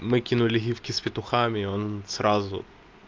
накинули гифки с петухами и он сразу